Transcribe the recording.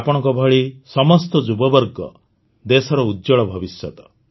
ଆପଣଙ୍କ ଭଳି ସମସ୍ତ ଯୁବବର୍ଗ ଦେଶର ଉଜ୍ଜ୍ୱଳ ଭବିଷ୍ୟତ